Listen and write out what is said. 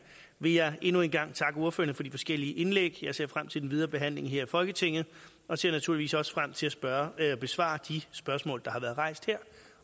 vil jeg endnu en gang takke ordførerne for de forskellige indlæg jeg ser frem til den videre behandling her i folketinget og ser naturligvis også frem til at besvare de spørgsmål der har været rejst her